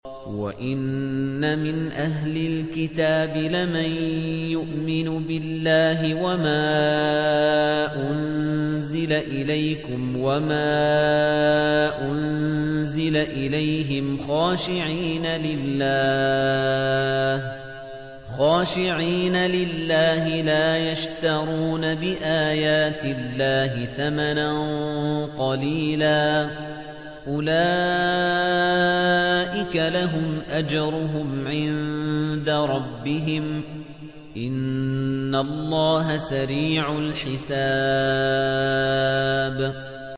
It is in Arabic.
وَإِنَّ مِنْ أَهْلِ الْكِتَابِ لَمَن يُؤْمِنُ بِاللَّهِ وَمَا أُنزِلَ إِلَيْكُمْ وَمَا أُنزِلَ إِلَيْهِمْ خَاشِعِينَ لِلَّهِ لَا يَشْتَرُونَ بِآيَاتِ اللَّهِ ثَمَنًا قَلِيلًا ۗ أُولَٰئِكَ لَهُمْ أَجْرُهُمْ عِندَ رَبِّهِمْ ۗ إِنَّ اللَّهَ سَرِيعُ الْحِسَابِ